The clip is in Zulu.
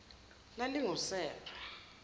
lalingusera